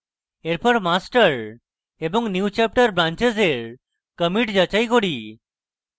এরপর master এবং newchapter branches এর commits যাচাই করি